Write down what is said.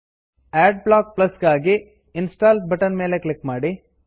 add block plus ಗಾಗಿ install button ಮೇಲೆ click ಮಾಡಿ